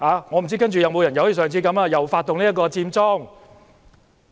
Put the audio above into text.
我不知道屆時會否有人再次發動佔中。